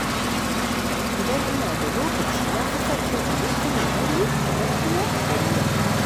Idan ina da lokaci, na fi son cin abinci mai nauyi kamar tuwo da miya.